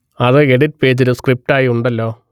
അത് എഡിറ്റ് പേജിൽ സ്ക്രിപ്റ്റ് ആയി ഉണ്ടല്ലോ